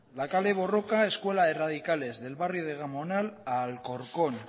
la kale borroka escuela de radicales del barrio de gamonal a alcorcón